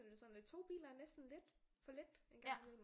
Så er det sådan lidt to biler er næsten lidt for lidt en gang imellem